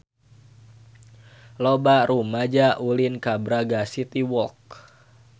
Loba rumaja ulin ka Braga City Walk